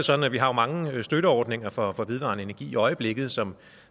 sådan at vi har mange støtteordninger for vedvarende energi i øjeblikket som